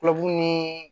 Kulodimi ni